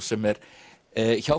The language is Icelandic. sem er hjá